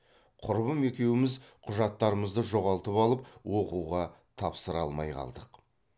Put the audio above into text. құрбым екеуіміз құжаттарымызды жоғалтып алып оқуға тапсыра алмай қалдық